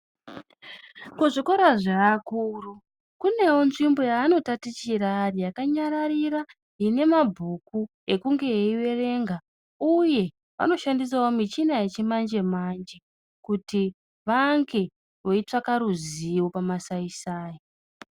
Kuzvikora zvevakuru, kunewo nzvimbo yeanotatichira ari yakanyararira, ine mabhuku, ekunge eiverenga, uye vanoshandisawo michina yechimanje-manje, kuti vange vechitsvaka ruzivo pamasaisai.